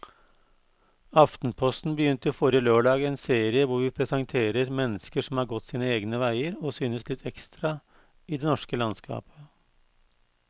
Aftenposten begynte forrige lørdag en serie hvor vi presenterer mennesker som har gått sine egne veier og synes litt ekstra i det norske landskapet.